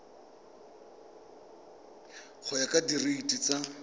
go ya ka direiti tsa